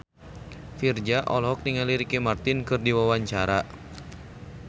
Virzha olohok ningali Ricky Martin keur diwawancara